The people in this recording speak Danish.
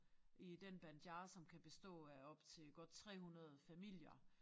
I den Banjar som kan bestå af op til godt 300 familier